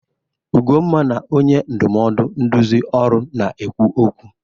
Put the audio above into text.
Ugonma na onye ndụmọdụ nduzi ọrụ na-ekwu okwu.